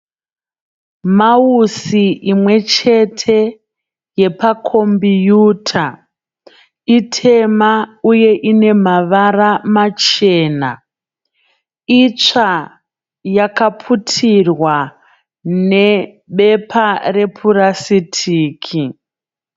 Mausi imwe chete yepakombiyuta. Itema uye ine mavara machena. Itsva yakaputirwa nebepa repurasitiki.